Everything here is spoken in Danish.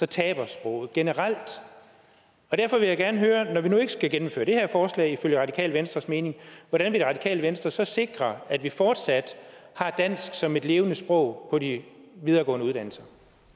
taber sproget generelt derfor vil jeg gerne høre når vi nu ikke skal gennemføre det her forslag ifølge radikale venstres mening hvordan vil radikale venstre så sikre at vi fortsat har dansk som et levende sprog på de videregående uddannelser